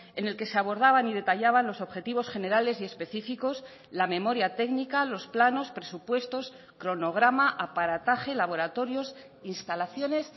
en el que se abordaban y detallaban los objetivos generales y específicos la memoria técnica los planos presupuestos cronograma aparataje laboratorios instalaciones